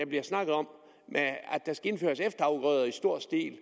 bliver snakket om er at der skal indføres efterafgrøder i stor stil